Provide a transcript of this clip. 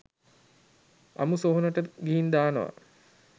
අමු සොහොනට ගිහින් දානවා.